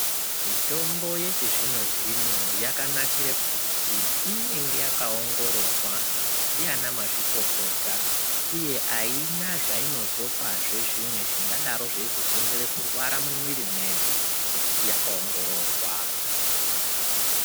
Mitombo yechizvino-zvino yakanakire kuti inenge yakaongororwa ndiana mazvikokota uye aina zvainozopazve zvimwe zvingadaro zveizokonzera kurwara mumwiri medu ngekuti yakaongororwa.